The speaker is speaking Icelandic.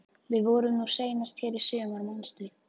Við vorum nú seinast hér í sumar, manstu?